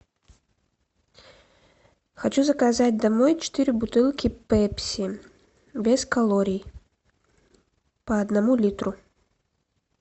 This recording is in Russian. хочу заказать домой четыре бутылки пепси без калорий по одному литру